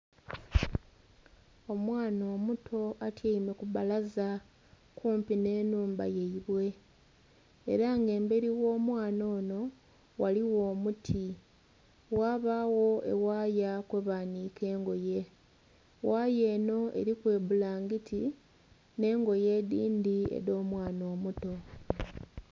Omwaana omuto atyaime kubbalaza kumpi nh'enhumba yeibwe era nga emberi gh'omwaana onho ghaligho omuti ghabagho eghaya kwebanhike engoye, ghaya enho eriku ebbulangiti nh'engoye edhindhi edh'omwaana omuto.